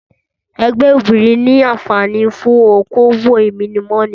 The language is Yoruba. Ẹgbẹ́ obìrin ni anfààní fún okòwò ìmúnimọni